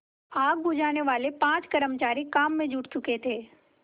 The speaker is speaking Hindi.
आग बुझानेवाले पाँचों कर्मचारी काम में जुट चुके थे